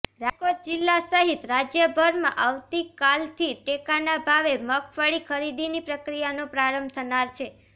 રાજકોટ જિલ્લા સહિત રાજયભરમાં આવતીકાલથી ટેકાના ભાવે મગફળી ખરીદીની પ્રક્રિયાનો પ્રારંભ થનાર છે